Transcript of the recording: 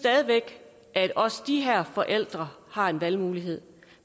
at også de her forældre har en valgmulighed